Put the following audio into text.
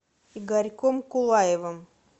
игорьком кулаевым